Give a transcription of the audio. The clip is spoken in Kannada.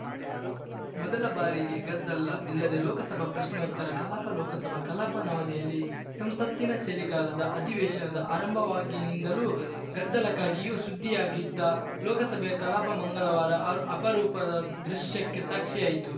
ಮೊದಲ ಬಾರಿಗೆ ಗದ್ದಲ ಇಲ್ಲದೆ ಲೋಕಸಭೆ ಪ್ರಶ್ನೋತ್ತರ ಕಲಾಪ ಲೋಕಸಭಾ ಕಲಾಪ ನವದೆಹಲಿ ಸಂಸತ್ತಿನ ಚಳಿಗಾಲದ ಅಧಿವೇಶನದ ಆರಂಭವಾಗಿನಿಂದಲೂ ಗದ್ದಲಕ್ಕಾಗಿಯು ಸುದ್ದಿಯಾಗಿದ್ದ ಲೋಕಸಭೆಯ ಕಲಾಪ ಮಂಗಳವಾರ ಆ ಅಪರೂಪದ ದೃಶ್ಯಕ್ಕೆ ಸಾಕ್ಷಿಯಾಯ್ತು